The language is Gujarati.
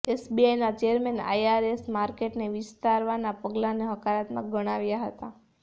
એસબીઆઇના ચેરમેને આઇઆરએસ માર્કેટને વિસ્તારવાનાં પગલાંને હકારાત્મક ગણાવ્યાં હતાં